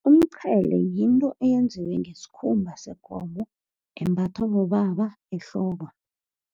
Umqhele yinto eyenziwe ngesikhumba sekomo, embathwa bobaba ehloko.